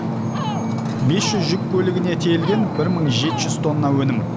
бес жүз жүк көлігіне тиелген бір мың жеті жүз тонна өнім